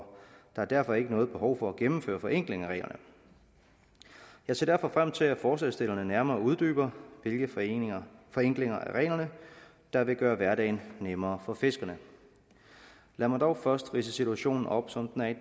der er derfor ikke noget behov for at gennemføre forenkling af reglerne jeg ser derfor frem til at forslagsstillerne nærmere uddyber hvilke forenklinger forenklinger af reglerne der vil gøre hverdagen nemmere for fiskerne lad mig dog først ridse situationen op som den er